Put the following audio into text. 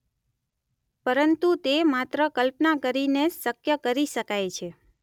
પરંતુ તે માત્ર કલ્પના કરીને જ શક્ય કરી શકાય છે.